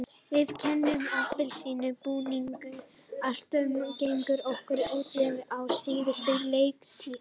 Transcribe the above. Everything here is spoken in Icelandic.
Við kennum appelsínugula búningnum alltaf um gengi okkar á útivelli á síðustu leiktíð.